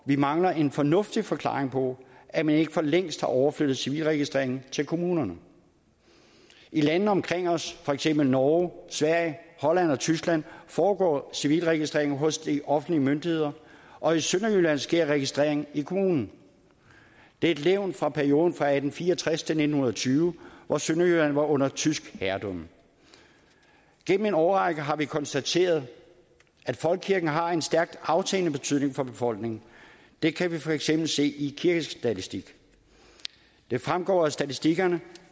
vi mangler en fornuftig forklaring på at man ikke for længst har overflyttet civilregistreringen til kommunerne i lande omkring os for eksempel i norge sverige holland og tyskland foregår civilregistreringen hos de offentlige myndigheder og i sønderjylland sker registreringen i kommunen det er et levn fra perioden fra atten fire og tres til nitten tyve hvor sønderjylland var under tysk herredømme gennem en årrække har vi konstateret at folkekirken har en stærkt aftagende betydning for befolkningen det kan vi for eksempel se i kirkestatistikken det fremgår af statistikkerne